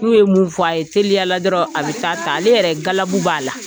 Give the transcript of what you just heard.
N'u ye mun fɔ a ye teliyala dɔrɔn a bɛ taa ta ale yɛrɛ galabu b'a la.